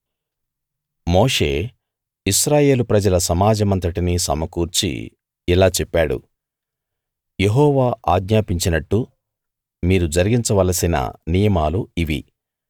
మోషే ఇశ్రాయేలు ప్రజల సమాజమంతటినీ సమకూర్చి ఇలా చెప్పాడు యెహోవా ఆజ్ఞాపించినట్టు మీరు జరిగించవలసిన నియమాలు ఇవి